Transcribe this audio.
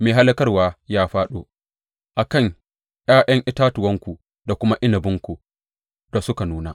Mai hallakarwa ya fāɗo a kan ’ya’yan itatuwanku da kuma inabinku da suka nuna.